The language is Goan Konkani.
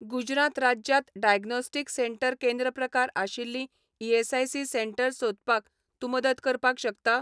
गुजरात राज्यांत डायग्नोस्टीक सेंटर केंद्र प्रकार आशिल्लीं ईएसआयसी सेटंर्स सोदपाक तूं मदत करपाक शकता?